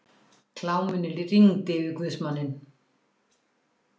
Kláminu rigndi yfir guðsmanninn.